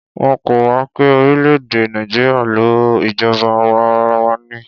Wọ́n kọ́ wa pé orílè-èdè Nàìjíríà ń lò ìjọba àwa arawa ni.